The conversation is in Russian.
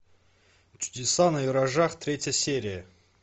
чудеса на виражах третья серия